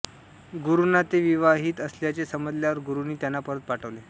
गुरूंना ते विवाहित असल्याचे समजल्यावर गुरूंनी त्यांना परत पाठवले